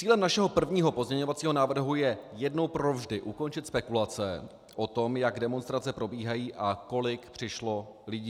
Cílem našeho prvního pozměňovacího návrhu je jednou provždy ukončit spekulace o tom, jak demonstrace probíhají a kolik přišlo lidí.